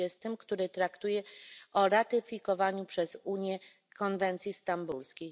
20, który traktuje o ratyfikowaniu przez Unię konwencji stambulskiej.